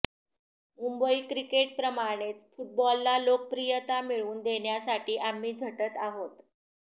मुंबई क्रिकेटप्रमाणेच फुटबॉलला लोकप्रियता मिळवून देण्यासाठी आम्ही झटत आहोत